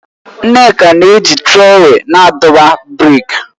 Nneka na-eji trọwèlu na-adọba brik